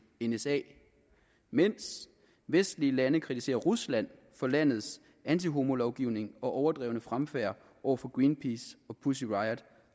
nsa mens vestlige lande kritiserer rusland for landets antihomolovgivning og overdrevne fremfærd over for greenpeace og pussy riot